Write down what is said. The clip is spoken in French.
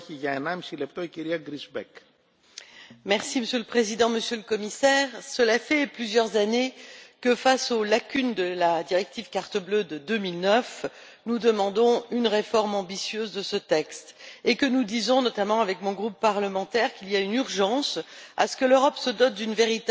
Monsieur le Président, Monsieur le Commissaire, cela fait plusieurs années que, face aux lacunes de la directive carte bleue de 2009, nous demandons une réforme ambitieuse de ce texte et que nous disons, notamment mon groupe parlementaire, qu'il y a urgence à ce que l'Europe se dote d'une véritable politique efficace en matière d'immigration légale,